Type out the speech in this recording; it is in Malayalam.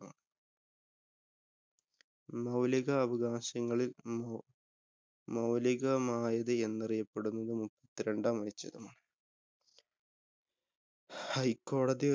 മൌലികാവകാശങ്ങളില്‍ നിന്ന് മൌലികമായത് എന്നറിയപ്പെടുന്ന മുപ്പത്തിരണ്ടാം അനുച്ഛേദം. ഹൈക്കോടതി